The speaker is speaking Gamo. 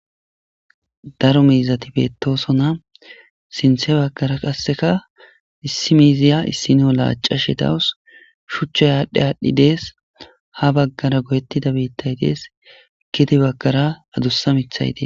Daro miizati beettosona. sinththe baggara qasseka issi miiziya issino laacashe dawus. shuchcha aadhdhi aadhdhi dees. ha baggara goyettida biittay dees. gede baggara adussa miiththay dees.